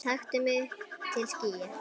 taktu mig upp til skýja